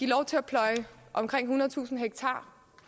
lov til at pløje omkring ethundredetusind ha